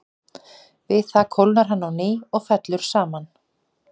Við það kólnar hann á ný og fellur saman.